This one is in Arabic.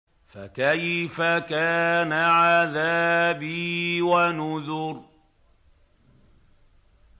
فَكَيْفَ كَانَ عَذَابِي وَنُذُرِ